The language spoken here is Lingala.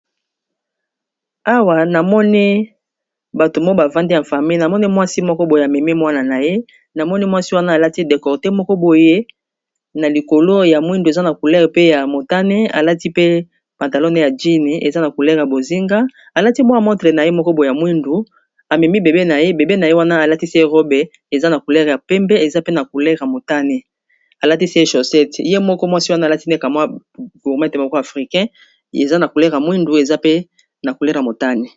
awa namoni bato moo bavandi ya fami namoni mwasi moko boye amemi mwana na ye namoni mwasi wana alati dekorde moko boye na likolo ya mwindu eza na coulere pe ya motane alati pe pantalone ya jine eza na coulere a bozinga alati mwa motre na ye moko boeya mwindu amemi bebe na ye bebe na ye wana alatisi ye robe eza na coulere ya pembe eza pealmoanealatisi ye chossette ye moko mwasi wana alati nekamwa gurmete moko africain eza na coulere ya mwindu eza pe na coulere motane